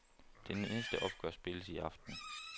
Det næste opgør spilles i aften.